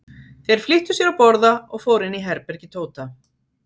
Þeir flýttu sér að borða og fóru inn í herbergi Tóta.